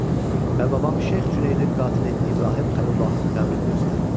Və babam Şeyx Cüneydin qatili İbrahim Xəlilullahın qəbrini göstərin.